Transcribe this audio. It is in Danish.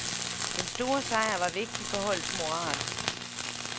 Den store sejr var vigtig for holdets moral.